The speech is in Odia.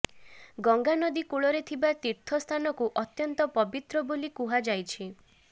ଗଙ୍ଗା ନଦୀ କୂଳରେ ଥିବା ତୀର୍ଥସ୍ଥାନକୁ ଅତ୍ୟନ୍ତ ପବିତ୍ର ବୋଲି କୁହାଯାଇଛି